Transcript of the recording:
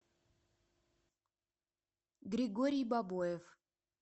григорий бабоев